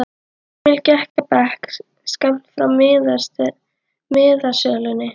Emil gekk að bekk skammt frá miðasölunni.